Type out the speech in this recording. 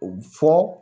U bɛ fɔ